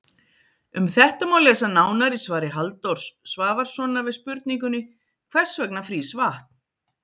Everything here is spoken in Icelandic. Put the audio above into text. Um þetta má lesa nánar í svari Halldórs Svavarssonar við spurningunni Hvers vegna frýs vatn?